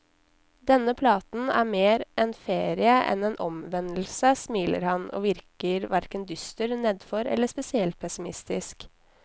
Denne platen er mer en ferie enn en omvendelse, smiler han, og virker hverken dyster, nedfor eller spesielt pessimistisk.